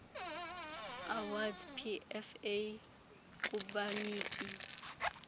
awards pfa kubaniki